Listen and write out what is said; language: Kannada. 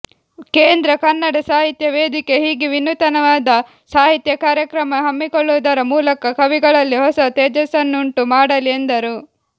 ಕೇಂದ್ರ ಕನ್ನಡ ಸಾಹಿತ್ಯ ವೇದಿಕೆ ಹೀಗೆ ವಿನೂತನವಾದ ಸಾಹಿತ್ಯ ಕಾರ್ಯಕ್ರಮ ಹಮ್ಮಿಕೊಳ್ಳುವುದರ ಮೂಲಕ ಕವಿಗಳಲ್ಲಿ ಹೊಸ ತೇಜಸ್ಸನ್ನುಂಟು ಮಾಡಲಿ ಎಂದರು